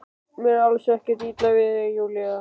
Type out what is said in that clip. Mér er alls ekkert illa við þig Júlía.